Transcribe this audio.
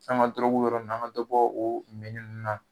Sanko dɔrɔgu bɛ yɔrɔ mun na, an ka dɔ bɔ o minnin ninnu na